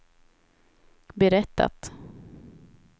berättat